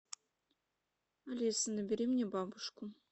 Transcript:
алиса набери мне бабушку